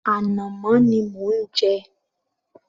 Ànàmọ́ ni mò ń jẹ